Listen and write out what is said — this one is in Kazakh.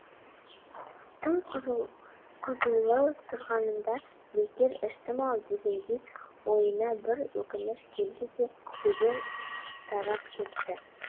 тым қызулы тұрғанымда бекер іштім ау дегендей ойына бір өкініш келді де дереу тарап кетті